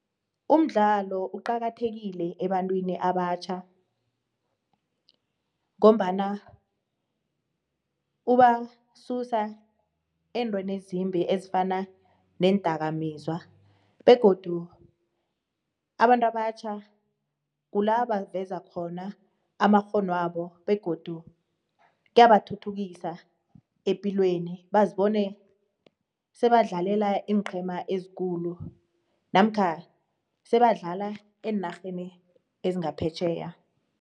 Umdlalo uqakathekile ebantwini abatjha ngombana ubasusa entweni ezimbi ezifana neendakamizwa begodu abantu abatjha kulavaveza khona amakghono wabo begodu kuyathuthukisa epilweni bazibone sebadlalela iinqhema ezikhulu namkha sebadlala eenarheni ezingaphetjheya.